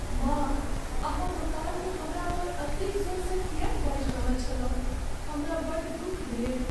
माँ अहाँ दोकानमे हमरा पर एतेक जोरसँ किएक बाजि रहल छलहुँ, हमरा बड़ दुख भेल।